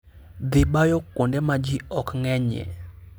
Dhi bayo kuonde ma ji ok ng'enyie.